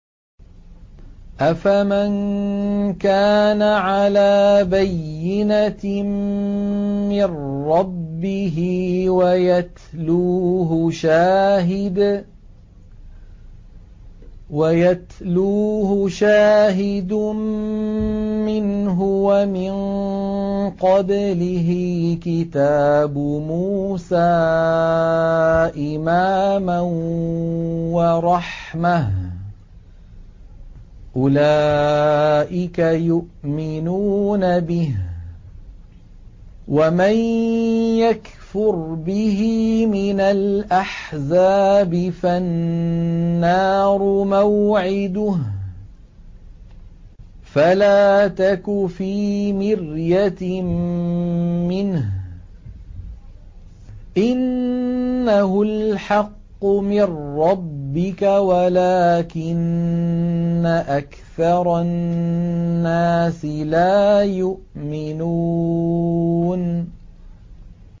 أَفَمَن كَانَ عَلَىٰ بَيِّنَةٍ مِّن رَّبِّهِ وَيَتْلُوهُ شَاهِدٌ مِّنْهُ وَمِن قَبْلِهِ كِتَابُ مُوسَىٰ إِمَامًا وَرَحْمَةً ۚ أُولَٰئِكَ يُؤْمِنُونَ بِهِ ۚ وَمَن يَكْفُرْ بِهِ مِنَ الْأَحْزَابِ فَالنَّارُ مَوْعِدُهُ ۚ فَلَا تَكُ فِي مِرْيَةٍ مِّنْهُ ۚ إِنَّهُ الْحَقُّ مِن رَّبِّكَ وَلَٰكِنَّ أَكْثَرَ النَّاسِ لَا يُؤْمِنُونَ